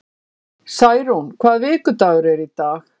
Særún, hvaða vikudagur er í dag?